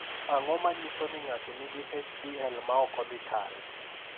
Ang’o ma nyiso ni ng’ato nigi HDL ma ok odhi kare?